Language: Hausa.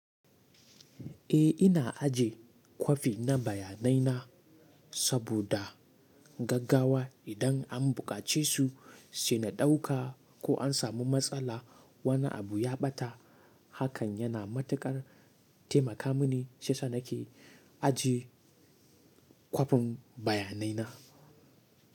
Eh ina ajiye kwafi na bayanai na saboda gaggawa idan an buƙace su sai na ɗauka ko an samu matsala wani abu ya ɓata. Hakan yana matuƙar taimaka mini shiyasa nake ajiye kwafin bayanai na.